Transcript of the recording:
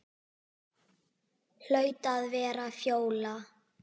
Hlaut að vera Fjóla.